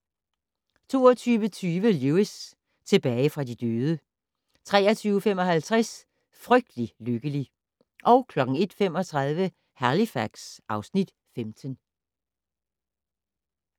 22:20: Lewis: Tilbage fra de døde 23:55: Frygtelig lykkelig 01:35: Halifax (Afs. 15)